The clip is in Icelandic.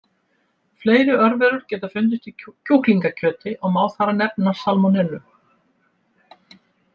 Fleiri örverur geta fundist í kjúklingakjöti og má þar nefna salmonellu.